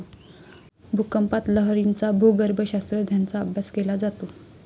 भूकंपात लहरींचा भूगर्भशास्त्रज्ञांचा अभ्यास केला जातो.